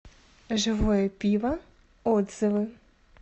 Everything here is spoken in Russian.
живое пиво отзывы